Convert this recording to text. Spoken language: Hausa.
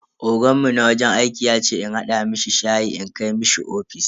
Oganmu na wajen aiki yace in hada mishi shayi in kai mishi ofis.